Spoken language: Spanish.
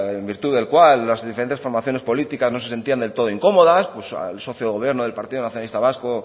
en virtud del cual las diferentes formaciones políticas no se sentían del todo incómodas pues el socio de gobierno del partido nacionalista vasco